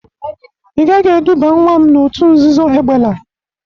Ị gaghi eduba nwa m n'otu nzuzo egbela!